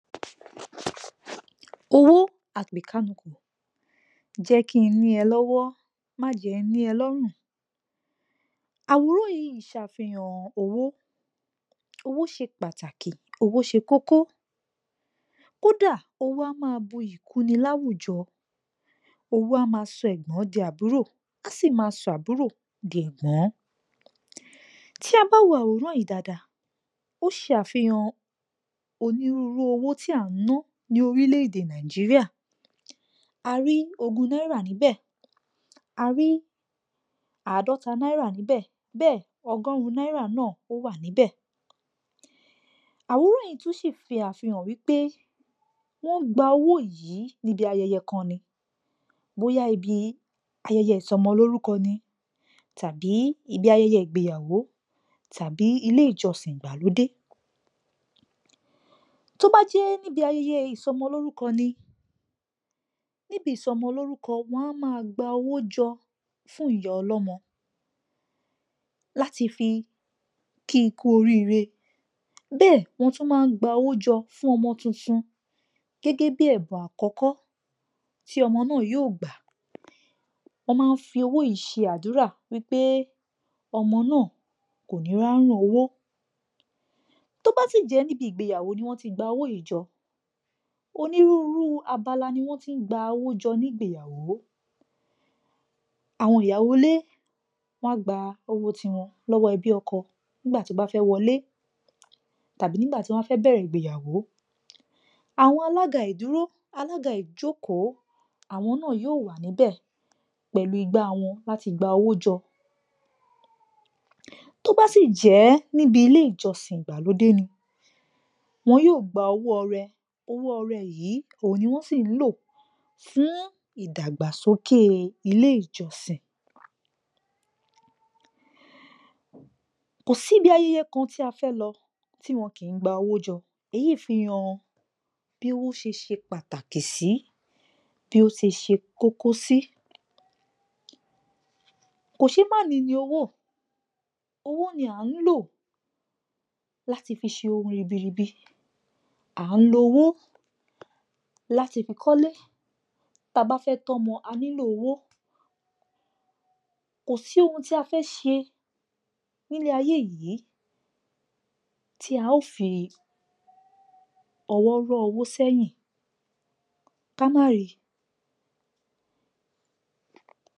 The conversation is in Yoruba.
Owó à-pè-kánukò, jẹ́ kí n ní ẹ lọ́wọ́, má jẹ́ n ní ẹ lọ́rùn. Àwòrán yìí ṣàfihàn owó. Owó ṣe pàtàkì, owó ṣe kókó, kódà owó a máa buyì kúni láwùjọ, owó a máa sọ ẹ̀gbọ́n di àbúrò, a sì máa sọ àbúrò di ẹ̀gbón. Tí a bá wo àwòrán yìí dáadáa, ó ṣe àfihàn onírúúru owó tí à ń ná ní orílẹ̀-èdè Nàìjíríà, a rí ogún náírà níbẹ̀, a rí àádọ́ta náírà níbẹ̀, bẹ́ẹ̀ ọgọ́rùn-ún náírà náà, ó wà níbẹ̀. Àwòrán yìí tún sì ṣe àfihàn wípé wọ́n gba owó yìí níbi ayẹyẹ kan ni, bóyá ibi ayẹyẹ ìsọmọlórúko ni, tàbí ibi ayẹyẹ ìgbeyàwó, tàbí ilé ìjọsìn ìgbàlódé. Tó bá jẹ́ níbi ayẹyẹ ìsọmọlórúkọ ni, níbi ìsọmọlúrúkọ, wọ́n a máa gba owó jọ fún ìyá ọlọ́mọ láti fí kí i kú oríre, bẹ́ẹ̀ ni wọ́n tún máa ń gba owó jọ fún ọmọ tuntun gẹ́gẹ́ bí i ẹ̀bùn àkọ́kọ́ tí ọmọ náà yóò gbà, wọ́n máa fi owó yìí ṣe àdúrà wípé ọmọ náà kò ní ráùn owó. Tó bá sì jẹ́ níbi ìgbeyàwó ni wọ́n ti gba owó yìí jọ, onírúurú abala ni wọ́n ti ń gba owó jọ ni ìgbeyàwó. Àwọn ìyàwó ilé, wọn a gba owó ti wọn lọ́wọ́ ẹbí ọkọ nígbà tí wọ́n bá fẹ́ wọlé, tàbí nìgbá tí wọ́n bá fẹ́ bẹ̀rẹ̀ ìgbeyàwó, àwọn alága ìdúró, alága ìjókòó, àwọn náà yóò wà níbẹ̀ pẹ̀lú igbá wọn láti gba owó jọ. Tó bá sì jẹ́ níbi ilé ìjọsìn ìgbàlódé ni, wọn yóò gba owó ọrẹ, owó ọrẹ yìí, òhun ni wọ́n sì ń lò fún ìdàgbàsókè ilé ìjọsìn. Kò sí ibi ayẹyẹ kan tí a fẹ́ lọ tí wọn kì í gba owó jọ, èyí fi hàn bí owó ṣe ṣe pàtàkì sí, bí ó ṣe ṣe kókó sí. Kòṣeémání ni owó, owó ni à ń lò láti fi ṣe ohun ribiribi, à ń lo owó láti fi kọ́lé, ta bá fẹ́ tọ́mọ, a nílò owó, kò sí ohun tí a fẹ́ ṣe ní ayé yìí, tí a ó fi ọwọ́ rọ́ owó sẹ́yìn, ká má ri.